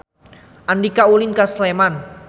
Andika ulin ka Sleman